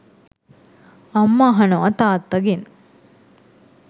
අම්ම අහනව තාත්තාගෙන් .